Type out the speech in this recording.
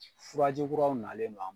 Furaji kuraw nalen no an